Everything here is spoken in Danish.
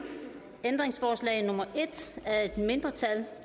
ændringsforslag nummer en af et mindretal